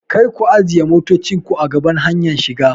Karku ajiye motocinku a gaban hanyar shiga!